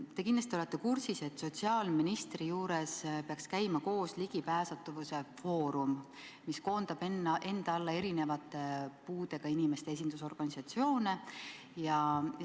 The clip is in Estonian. Te kindlasti olete kursis, et sotsiaalministri juures peaks käima koos Ligipääsetavuse Foorum, mis koondab enda alla puudega inimeste esindusorganisatsioone.